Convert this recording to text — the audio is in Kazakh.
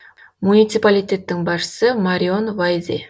муниципалитеттің басшысы марион вайзе